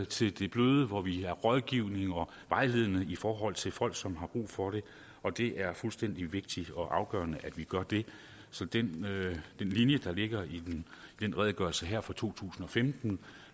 til det bløde hvor vi er rådgivende og vejledende i forhold til folk som har brug for det og det er fuldstændig vigtigt og afgørende at vi gør det så den linje der ligger i den redegørelse her fra to tusind og femten